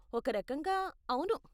ఒక రకంగా, అవును.